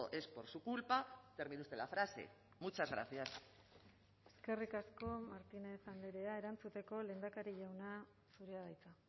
es por su culpa termine usted la frase muchas gracias eskerrik asko martínez andrea erantzuteko lehendakari jauna zurea da hitza